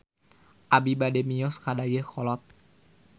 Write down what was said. Abi bade mios ka Dayeuhkolot